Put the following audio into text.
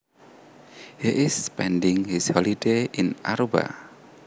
He is spending his holiday in Aruba